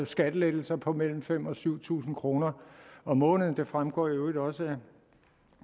skattelettelser på mellem fem tusind og syv tusind kroner om måneden det fremgår i øvrigt også